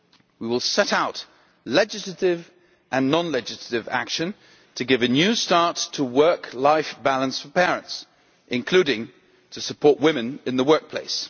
We will set out legislative and non legislative action to give a new start to work life balance for parents, including to support women in the workplace.